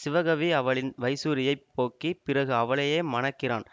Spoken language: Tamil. சிவகவி அவளின் வைசூரியைப் போக்கி பிறகு அவளையே மணக்கிறான்